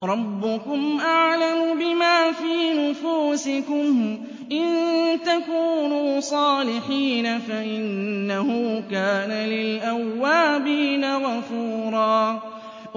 رَّبُّكُمْ أَعْلَمُ بِمَا فِي نُفُوسِكُمْ ۚ إِن تَكُونُوا صَالِحِينَ فَإِنَّهُ كَانَ لِلْأَوَّابِينَ غَفُورًا